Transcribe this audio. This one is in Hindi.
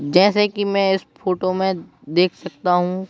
जैसे कि मैं इस फोटो में देख सकता हूं।